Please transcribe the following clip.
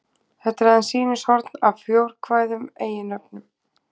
þetta er aðeins sýnishorn af fjórkvæðum eiginnöfnum